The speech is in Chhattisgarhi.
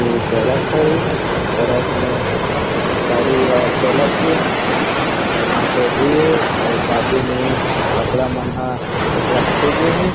ए सड़क हरे अउ सड़क में गाड़ी मन ह चलत थे अऊ ऑटो भी हे अउ बाजू में कपड़ा मन ह रखे गे हे।